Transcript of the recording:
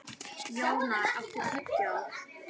Jónar, áttu tyggjó?